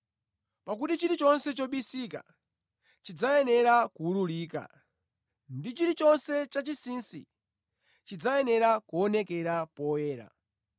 Pakuti chilichonse chobisika chidzayenera kuwululika, ndi chilichonse chachinsinsi chidzayenera kuonekera poyera.